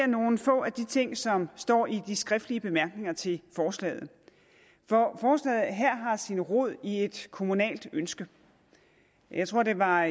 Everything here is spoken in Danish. nogle få af de ting som står i de skriftlige bemærkninger til forslaget forslaget her har sin rod i et kommunalt ønske jeg tror det var